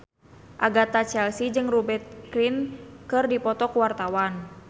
Agatha Chelsea jeung Rupert Grin keur dipoto ku wartawan